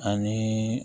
Ani